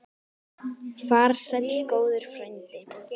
Far sæll góður frændi.